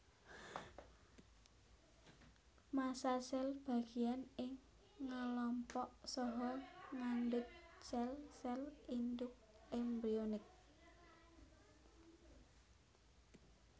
Massa sel bagian ing ngelompok saha ngandut sel sel induk embrionik